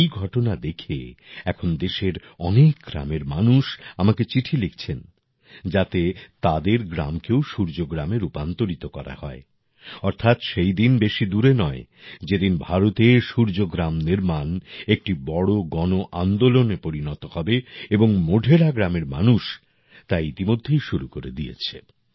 এই ঘটনা দেখে এখন দেশের অনেক গ্রামের মানুষ আমাকে চিঠি লিখছেন যাতে তাদের গ্রামকেও সূর্যগ্রামে রূপান্তরিত করা হয় অর্থাৎ সেই দিন বেশি দূরে নয় যেদিন ভারতে সূর্যগ্রাম নির্মাণ একটি বড় গণআন্দোলনে পরিণত হবে এবং মোঢেরা গ্রামের মানুষ তা ইতিমধ্যে শুরু করে দিয়েছে